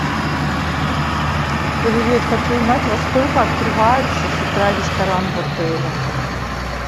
привет хочу знать во сколько открывается с утра ресторан в отеле